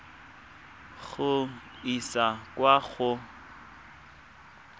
go e isa kwa go